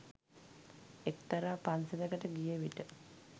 එක්තරා පන්සලකට ගියවිට